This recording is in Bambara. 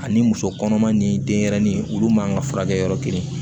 Ani muso kɔnɔma ni denyɛrɛnin olu man ka furakɛ yɔrɔ kelen